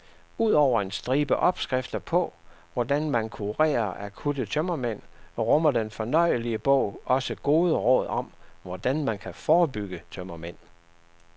Ud over en stribe opskrifter på, hvordan man kurerer akutte tømmermænd, rummer den fornøjelige bog også gode råd om, hvordan man kan forebygge tømmermænd.